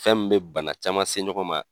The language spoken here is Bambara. Fɛn mi bɛ bana caman se ɲɔgɔn ma.